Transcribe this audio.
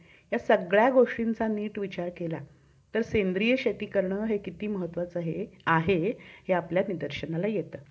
अगदी गर्भातल्या गर्भ माणसा~ गर्भातल्या गरीब माणसाकडे पण smartphone आहे आणि त्याच्याकडे पण